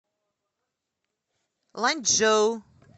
ланьчжоу